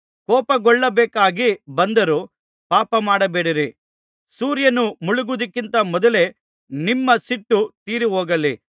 ಕೋಪಗೊಳ್ಳಬೇಕಾಗಿ ಬಂದರೂ ಪಾಪಮಾಡಬೇಡಿರಿ ಸೂರ್ಯನು ಮುಳುಗುವುದಕ್ಕಿಂತ ಮೊದಲೇ ನಿಮ್ಮ ಸಿಟ್ಟು ತೀರಿಹೋಗಲಿ